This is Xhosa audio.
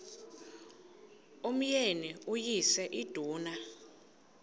umyeni uyise iduna